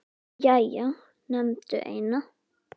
Jæja, nefndu eina